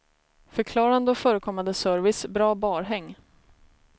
Förklarande och förekommande service, bra barhäng.